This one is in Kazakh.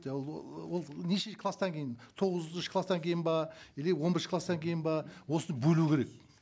ыыы ол неше класстан кейін тоғызыншы класстан кейін бе или он бірінші класстан кейін бе осыны бөлу керек